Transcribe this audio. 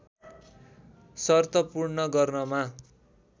शर्त पूर्ण गर्नमा